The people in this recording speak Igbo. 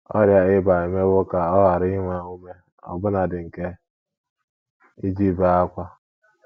Ọrịa ịba emewo ka ọ ghara inwe inwe ume ọbụnadị nke iji bee ákwá.